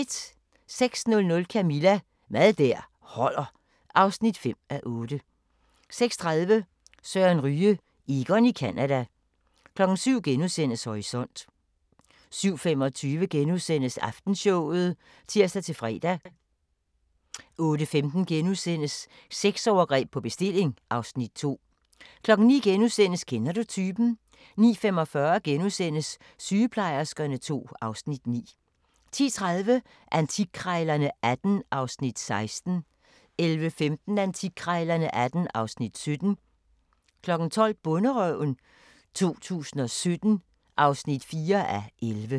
06:00: Camilla – Mad der holder (5:8) 06:30: Søren Ryge: Egon i Canada 07:00: Horisont * 07:25: Aftenshowet *(tir-fre) 08:15: Sexovergreb på bestilling (Afs. 2)* 09:00: Kender du typen? * 09:45: Sygeplejerskerne II (Afs. 9)* 10:30: Antikkrejlerne XVIII (Afs. 16) 11:15: Antikkrejlerne XVIII (Afs. 17) 12:00: Bonderøven 2017 (4:11)